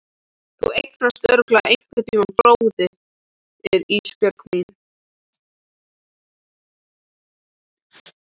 Þú eignast örugglega einhverntíma bróður Ísbjörg mín.